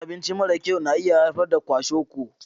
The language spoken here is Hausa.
Cin abinci mara kyau na iya haifar da kwashiorkor.